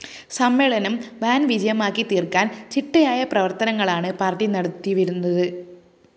സമ്മേളനം വൻ വിജയമാക്കി തീര്‍ക്കാന്‍ ചിട്ടയായ പ്രവര്‍ത്തനങ്ങളാണ്‌ പാര്‍ട്ടി നടത്തിവരുന്നത്‌